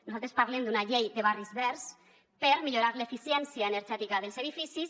nosaltres parlem d’una llei de barris verds per millorar l’eficiència energètica dels edificis